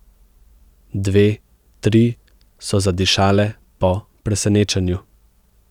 Dve, tri so zadišale po presenečenju.